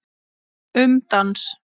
Um dans